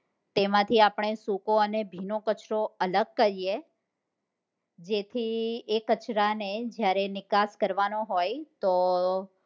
તેમાંથી આપણે સૂકો અને ભીનો કચરો અલગ કરીએ જેથી એ કચરા ને નિકાશ કરવા નો હોય તો